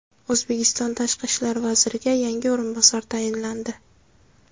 O‘zbekiston tashqi ishlar vaziriga yangi o‘rinbosar tayinlandi.